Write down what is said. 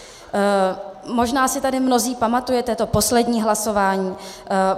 Možná si tady mnozí pamatujete to poslední hlasování.